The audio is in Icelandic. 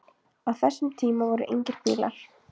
Á þessum tíma voru engir bílar.